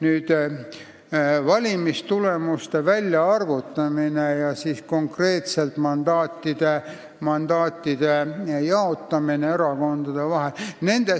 Nüüd valimistulemuste väljaarvutamisest ja konkreetselt mandaatide jaotamisest erakondade vahel.